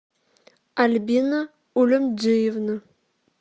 альбина улюмджиевна